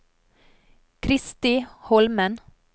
Kristi Holmen